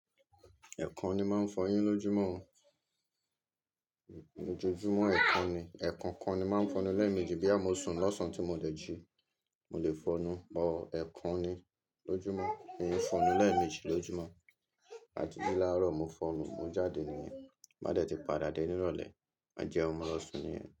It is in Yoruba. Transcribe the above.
Ẹ̀kan ni máa ń fọyín lójúmọ́ o, lójoójúmọ́ ẹ̀kan ni, ẹ̀kọkan ni máa ń fọnú lẹ́ẹ̀mejì boya mo sùn lọ́sàn tí mo dẹ̀ jí, mo lè fọnú o, ẹ̀kan ni lójúmọ́, mi è fọnú lẹ́ẹ̀mejì lójúmọ́, àti jí láàárọ̀ mo fọnú, mo jáde nìyẹn, bá dẹ̀ ti padà dé nírọ̀lẹ́, má jẹ́un mo lọ̀ ṣun nìyẹn.